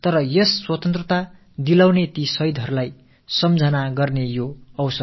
ஆனால் நமக்கெல்லாம் இத்தகைய சுதந்திரத்தைப் பெற்றுத் தந்த தியாகிகளை நினைவு கூரும் தருணமாக இது இருக்கிறது